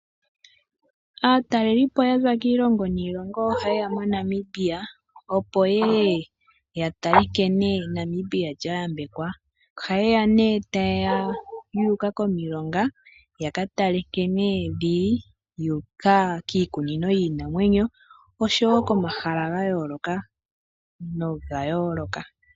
Aatalelipo yaza kiilongo niilongo oha yeya moNamibia opo yeye yatale nkene Namibia lyayambekwa. Oha yeya yuuka momahala ngaashi omilonga yakatale nkene dhili, ohayuuka woo kiikunino yiinanwenyo momahala galwe.